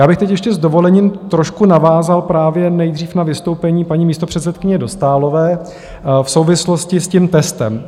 Já bych teď ještě s dovolením trošku navázal právě nejdřív na vystoupení paní místopředsedkyně Dostálové v souvislosti s tím testem.